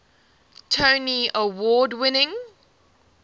tony award winning